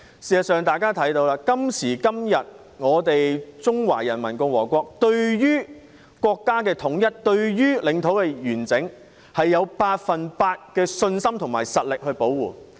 事實上，今時今日，我們中華人民共和國對國家統一、領土完整，有百分百的信心和實力保護。